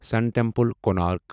سَن temple, Konark